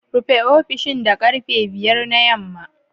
Rufe ofishin da karfe 5 na yamma